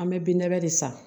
An bɛ binnabɛ de san